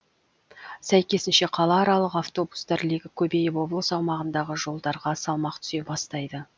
сәйкесінше қалааралық автобустар легі көбейіп облыс аумағындағы жолдарға салмақ түсе бастайды